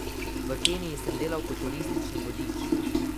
V Keniji sem delal kot turistični vodič.